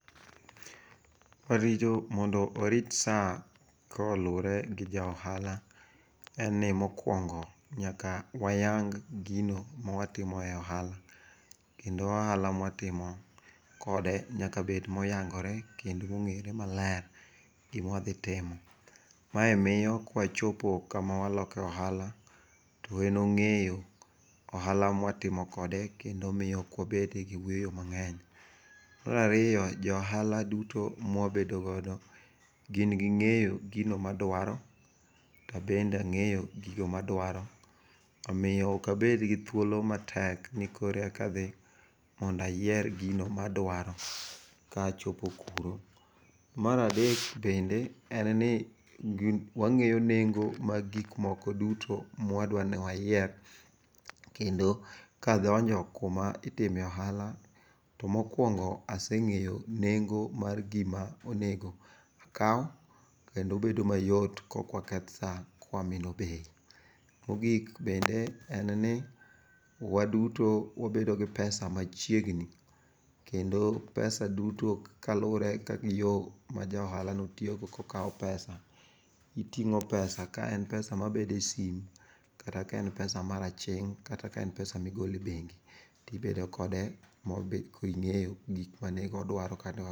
Warito mondo warit sa koluwore gi ja ohala en ni mokwongo nyaka wayang gino mwatimo e ohala. Kendo ohala mwatimo kode nyaka bed moyangore kendo mong'ere maler gimwadhi timo. Mae miyo kwachopo kama waloke ohala to en ong'eyo ohala mwatimo kode kendo miyo okwabede gi wuoyo mang'eny. Marariyo, jo ohala duto mwabedo godo gin ging'eyo gino madwaro tabende ang'eyo gigi madwaro. Omiyo okabed gi thuolo matek ni koreka adhi mondayier gino madwaro ka achopo kuro. Maradek bende en ni wang'eyo nengo mag gikmoko duto mwadwani wayier. Kendo kadonjo kuma itime ohala, to mokwongo aseng'eyo nengo mar gima onego akaw, kendo bedo mayot kokwaketh sa kwamino bei. Mogik bende en ni waduto wabedo gi pesa machiegni. Kendo pesa duto kalure gi yo ma ja ohalano tiyogo kokawo pesa. Iting'o pesa kaen pesa mabede sim, kata kaen pesa mar aching', kata kaen pesa migole bengi, tibedo kode mobet koing'eyo gik manigo dwaro kanewa.